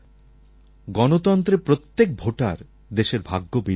গণতন্ত্রে প্রত্যেক ভোটার দেশের ভাগ্যবিধাতা